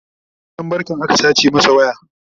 yana wurin barkan aka sace masa waya